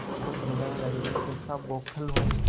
मन को समझाने लगेमैं कैसा बौखल हूँ